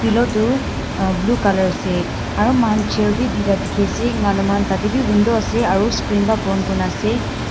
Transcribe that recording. Pillow tu uh blue colour ase aro moihan chair beh tui ta dekhe ase enka moihan tate beh window ase aro screen bra pon kurena ase.